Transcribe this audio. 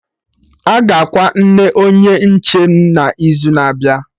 Aga akwa nna Onye nche m n'izu na-abịa